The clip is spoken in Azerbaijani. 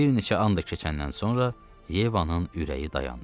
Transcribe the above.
Bir neçə an da keçəndən sonra Yevanın ürəyi dayandı.